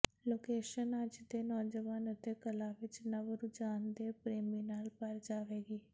location ਅੱਜ ਦੇ ਨੌਜਵਾਨ ਅਤੇ ਕਲਾ ਵਿੱਚ ਨਵ ਰੁਝਾਨ ਦੇ ਪ੍ਰੇਮੀ ਨਾਲ ਭਰ ਜਾਵੇਗੀ